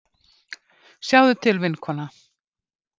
Sjáðu til, vinkona.